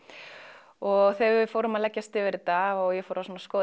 og þegar við fórum að leggjast yfir þetta og ég fór að skoða